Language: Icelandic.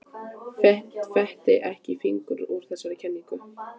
Fetti ekki fingur út í þessa kenningu.